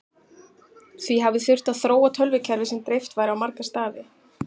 Því hafi þurft að þróa tölvukerfi sem dreift væri á marga staði.